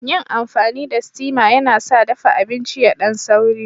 Yin amfani da steama yana sa dafa abinci yadan sauri.